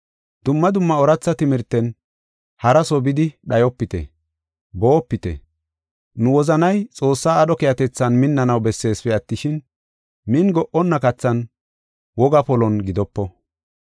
Dumma dumma ooratha timirten haraso bidi dhayopite; boopite. Nu wozanay Xoossaa aadho keehatethan minnanaw besseesipe attishin, min go77onna kathan wogaa polon gidopo.